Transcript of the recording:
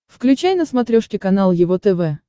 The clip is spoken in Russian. включай на смотрешке канал его тв